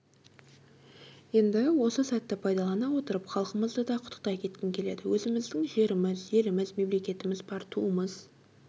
енді осы сәтті пайдалана отырып халқымызды да құттықтай кеткім келеді өзіміздің жеріміз еліміз мемлекетіміз бар туымыз